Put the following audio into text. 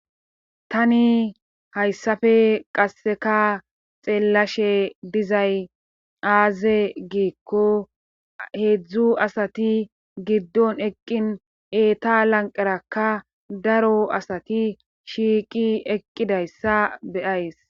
Tani hayssafe qasseka xeellashe dizay aaze giikko heedzdzu asati giddon eqqin eeta lanqerakka daro asati shiiqi eqqidayssa beyays.